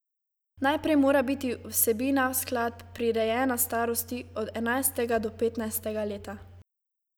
Najprej mora biti vsebina skladb prirejena starosti od enajstega do petnajstega leta.